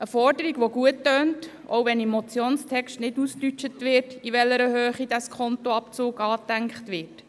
Das tönt nach einer guten Forderung, auch wenn im Motionstext nicht definiert ist, in welcher Höhe dieser Abzug angedacht ist.